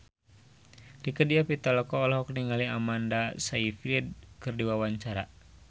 Rieke Diah Pitaloka olohok ningali Amanda Sayfried keur diwawancara